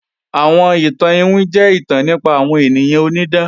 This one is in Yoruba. Àwọn ìtàn iwin jẹ́ ìtàn nípa àwọn ènìyàn onídán